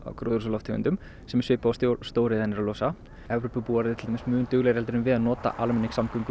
gróðurhúsalofttegundum sem er svipað og stóriðjan er að losa Evrópubúar eru til dæmis mun duglegri en við að nota almenningssamgöngur